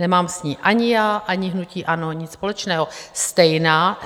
Nemám s ní ani já, ani hnutí ANO nic společného.